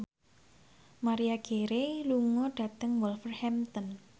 Maria Carey lunga dhateng Wolverhampton